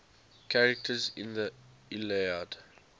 characters in the iliad